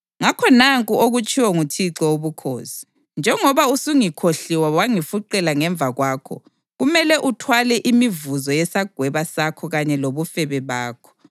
Ngakho nanku okutshiwo nguThixo Wobukhosi: Njengoba usungikhohliwe wangifuqela ngemva kwakho, kumele uthwale imivuzo yesagweba sakho kanye lobufebe bakho.”